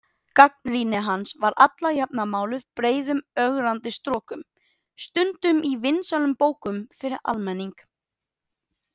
Gagnrýni hans var alla jafna máluð breiðum ögrandi strokum, stundum í vinsælum bókum fyrir almenning.